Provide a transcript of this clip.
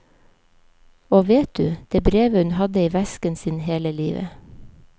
Og vet du, det brevet hadde hun i vesken sin hele livet.